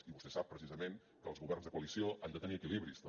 i vostè sap precisament que els governs de coalició han de tenir equilibris també